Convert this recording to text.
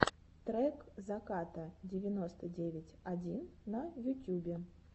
трек заката девяносто девять один на ютюбе